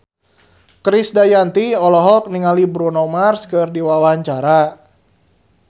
Krisdayanti olohok ningali Bruno Mars keur diwawancara